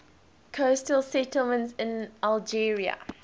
coastal settlements in algeria